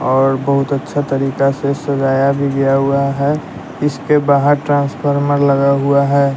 और बहुत अच्छा तरीका से सजाया भी गया हुआ है इसके बाहर ट्रांसफार्मर लगा हुआ है।